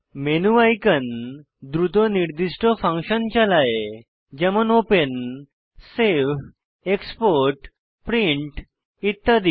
menu icon দ্রুত নির্দিষ্ট function চালায় যেমন ওপেন সেভ এক্সপোর্ট প্রিন্ট ইত্যাদি